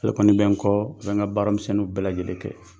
Ale kɔni bɛ n kɔ, a bɛ n ka baara misɛnninw bɛ lajɛlen kɛ.